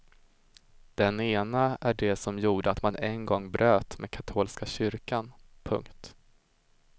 Den ena är det som gjorde att man en gång bröt med katolska kyrkan. punkt